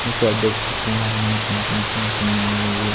जो कि आप देख सकते हैं यहां नए कंपनी की मशीन आई हुई है ये--